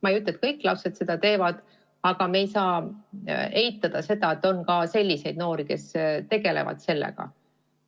Ma ei ütle, et kõik lapsed seda teevad, aga me ei saa eitada, et on ka selliseid noori, kes tegelevad sellega.